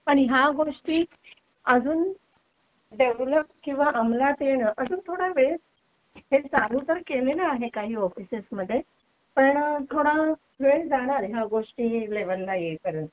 पण ह्या गोष्टी अजून डेव्हलप किंवा अमलात येणे अजून थोडा वेळ हे चालू तर केलेला आहे काही ऑफिसेस मध्ये पण थोडा वेळ जाणारे या गोष्टी लेवलला येईपर्यंत